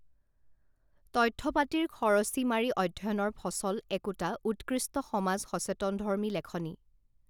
তথ্য পাতিৰ খৰচি মাৰি অধ্যয়নৰ ফচল একোটা উৎকৃষ্ট সমাজ সচেতনধৰ্মী লেখনি